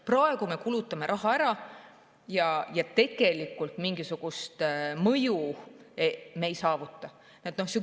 Praegu me kulutame raha ära ja tegelikult mingisugust mõju me ei saavuta.